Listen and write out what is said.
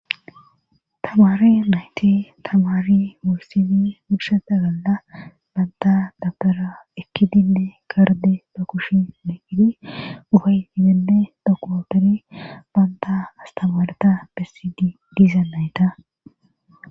Tamari nayte tamaari mursini purshata galla baanta dabbera ekki dinne karde ba kushi megidi uhay digenne dokootori banta astamareta bessidi diiza nayta.